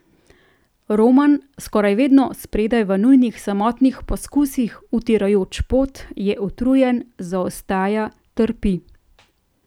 Roman, skoraj vedno spredaj v njunih samotnih poskusih, utirajoč pot, je utrujen, zaostaja, trpi.